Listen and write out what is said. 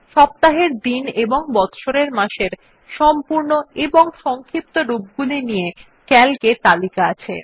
সপ্তাহের দিন এবং বচ্ছরের মাসের সম্পূর্ণ এবং সংক্ষিপ্ত রূপগুলি নিয়ে সিএএলসি এ তালিকা আছে